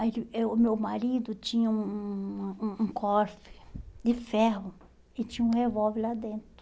Aí ele eu o meu marido tinha um um um um cofre de ferro e tinha um revólver lá dentro.